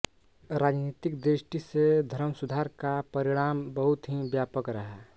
राजनीतिक दृष्टि से धर्मसुधार का परिणाम बहुत ही व्यापक रहा